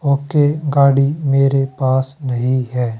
Okay गाड़ी मेरे पास नहीं है।